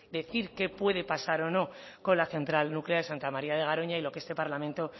decir qué puede pasar o no con la central nuclear de santa maría de garoña y lo que este parlamento